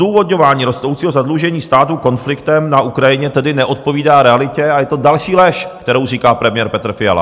Odůvodňování rostoucího zadlužení státu konfliktem na Ukrajině tedy neodpovídá realitě a je to další lež, kterou říká premiér Petr Fiala.